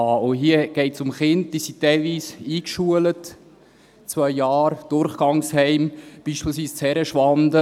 Und hier geht es um Kinder, die teilweise eingeschult sind, zwei Jahre Durchgangsheim, beispielsweise in Herrenschwanden.